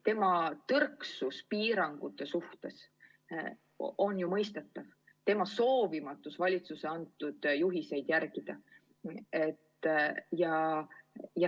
Tema tõrksus piirangute suhtes on ju mõistetav, tema soovimatus valitsuse antud juhiseid järgida on mõistetav.